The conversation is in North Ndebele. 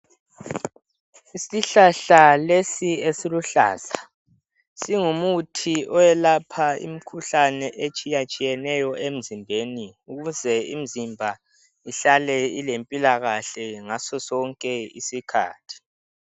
Isihlahla lesi esiluhlaza, singumuthi oyelapha imikhuhlane etshiyatshiyeneyo emzimbeni ukuze imzimba ihlale ilempilakahle ngasosonke isikhathi.